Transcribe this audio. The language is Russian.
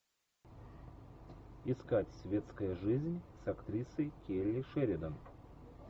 искать светская жизнь с актрисой келли шеридан